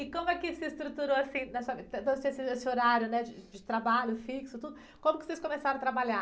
E como é que se estruturou assim, na sua, esse horário, né? De, de trabalho fixo, tudo, como que vocês começaram a trabalhar?